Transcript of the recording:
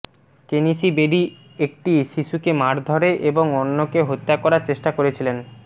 কেনিশী বেরি একটি শিশুকে মারধরে এবং অন্যকে হত্যা করার চেষ্টা করেছিলেন